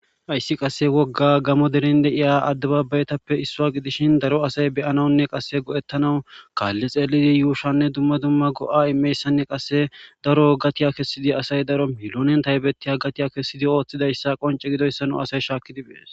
ayssi qasse wogga gamo deren deiya addebabaytappe issuwa gidishin daro asay beyanawunne qasse go7ettanawu kaalli xeelidi yuushanne dumma dumma go7a imeyssanne qasse daro gatiya kessidi asay daro milonen taybettiya gatiya kessidi ooththidayssa qonce gidoyssano asay shaakkidiphees